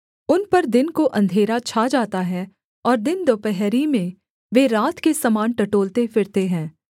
उन पर दिन को अंधेरा छा जाता है और दिन दुपहरी में वे रात के समान टटोलते फिरते हैं